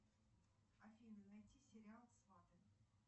афина найди сериал сваты